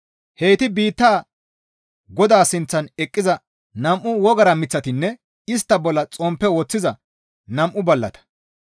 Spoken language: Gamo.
Heyti biitta Godaa sinththan eqqiza nam7u wogara miththatanne istta bolla xomppe woththiza nam7u ballata.